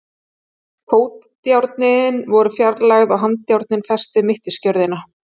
Fótajárnin voru fjarlægð og handjárnin fest við mittisgjörðina.